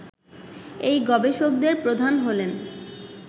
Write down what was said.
এই গবেষকদের প্রধান হলেন